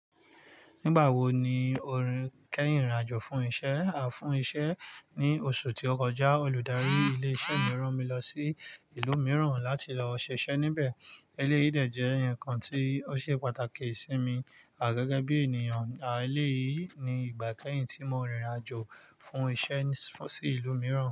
Nígbàwò ní o kẹhin rin irìn-àjò fún iṣẹ́, à fún iṣẹ́ ní oṣù tí ó kọjá, olùdarí ilé iṣẹ́ mi rán mi lọ sí ìlú mìíràn láti lọ ṣiṣẹ́ níbẹ̀. Eléyìí dẹ̀ jẹ́ ǹkan tí ó ṣe pàtàkì sí mi à gẹ́gẹ́ bí ènìyàn. À eléyìí ni ìgbà ikẹ́yìn tí mo rìnrìn-àjò fún iṣẹ́ sí ìlú mìíràn.